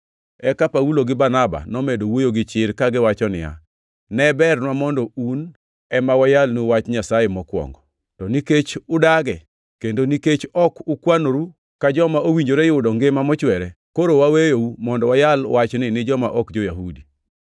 Eka Paulo gi Barnaba nomedo wuoyo gi chir kagiwacho niya, “Ne bernwa mondo un ema wayalnu Wach Nyasaye mokwongo. To nikech udage kendo nikech ok ukwanoru ka joma owinjore yudo ngima mochwere, koro waweyou mondo wayal wachni ni joma ok jo-Yahudi.